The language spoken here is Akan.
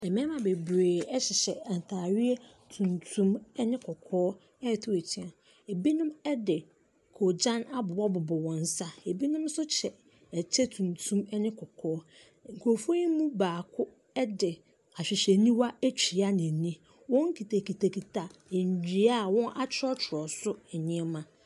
Mmarima bebree hyehyɛ ntaadeɛ tuntum ne kɔkɔɔ ɛrete atua, binom de kɔɔgyan abobɔbobɔ wɔn nsa, binom nso hyɛ kyɛ tuntum ne kɔkɔɔ. nkurɔfoɔ yi mu baako de ahwehwɛniwa atua n’ani. Wɔkitakitakita nnua a wɔtwerɛtwerɛ so nneɛma.